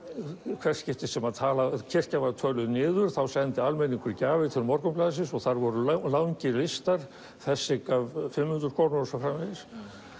í hvert skipti sem kirkjan var töluð niður sendi almenningur gjafir til Morgunblaðsins og þar voru langir listar þessi gaf fimm hundruð krónur og svo framvegis